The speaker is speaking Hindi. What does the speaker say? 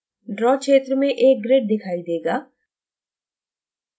ड्रॉ क्षेत्र में एक grid दिखाई देगा